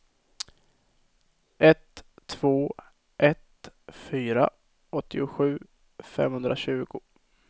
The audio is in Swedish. ett två ett fyra åttiosju femhundratjugo